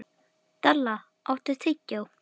Dalla, áttu tyggjó?